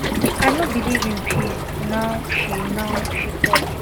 i no believe in peace now she now she tok